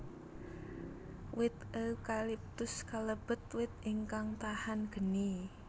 Wit eukaliptus kalebet wit ingkang tahan geni